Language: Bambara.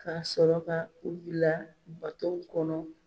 K'a sɔrɔ ka ku bila batow kɔnɔ.